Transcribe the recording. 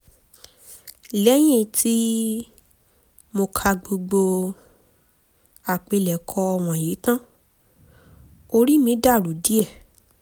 lẹ́yìn tí um mo ka gbogbo àpilẹ̀kọ wọ̀nyí tán orí mi dàrú díẹ̀